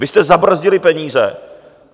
Vy jste zabrzdili peníze.